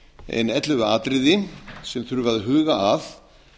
ein ellefu atriði sem þurfi að huga að